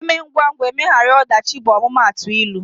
" Eme ngwa ngwa, emegharu ọdachi" bụ omumatu ịlụ